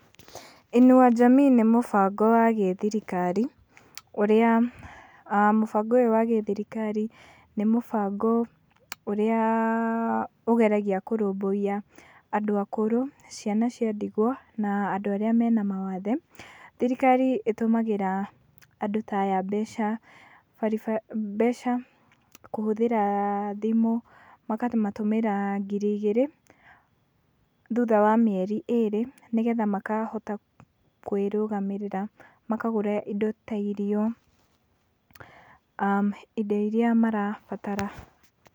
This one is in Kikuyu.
Inua Jamii nĩ mũbango wa gĩthirikari ũrĩa, aah mũbango ũyũ wa gĩthirikari, nĩ mũbango ũrĩa ũgeragia kũrũbũiya andũ akũrũ, ciana cia ndigwa na andũ arĩa mena mawathe, thirikari ĩtũmagĩra andũ ta aya mbeca baribari, mbeca kũhũthĩra thimũ, makamatũmĩra ngiri igĩrĩ thutha wa mĩeri ĩrĩ, nĩgetha makahota kwĩrũgamĩrĩra, makagũra indo ta irio, aah indo iria marabatara.